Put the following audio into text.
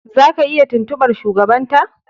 Zaka iya tuntuɓar shugabanta.